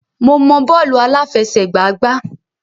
Mo mọ bọ́ọ̀lù àláfẹsẹ̀gbá gbá.